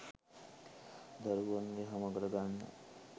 දරුවන් යහමගට ගන්න